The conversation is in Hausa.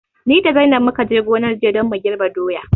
Ni da zainab mukaje gonar jiya don mu girɓi doya